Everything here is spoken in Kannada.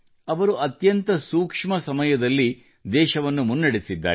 ಅವರು ಅತ್ಯಂತ ಸೂಕ್ಷ್ಮ ಸಮಯದಲ್ಲಿ ದೇಶವನ್ನು ಮುನ್ನಡೆಸಿದ್ದಾರೆ